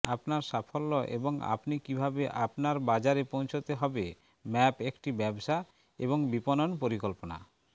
আপনার সাফল্য এবং আপনি কিভাবে আপনার বাজারে পৌঁছাতে হবে ম্যাপ একটি ব্যবসা এবং বিপণন পরিকল্পনা